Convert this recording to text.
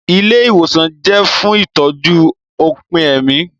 Ilé ìwòsàn jẹ́ fún ìtọ́jú òpin ẹ̀mí